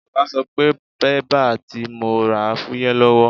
Ọ̀gá sọ pé bébà tí mo rà fúyẹ́ lọ́wọ́.